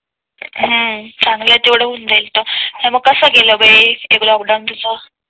हम्म चांगलं आहे तेवढं होऊन जाईल तर मग कस गेलं बाई लोकडॉउन तुझं